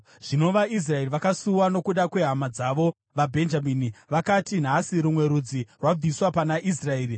Zvino vaIsraeri vakasuwa nokuda kwehama dzavo, vaBhenjamini. Vakati, “Nhasi rumwe rudzi rwabviswa pana Israeri.